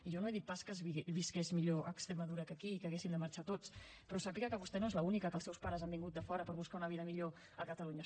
jo no he dit pas que es visqués millor a extremadura que aquí i que haguéssim de marxar tots però sàpiga que vostè no és l’única que els seus pares han vingut de fora per buscar una vida millor a catalunya